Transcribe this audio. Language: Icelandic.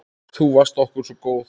Þú varst okkur svo góð.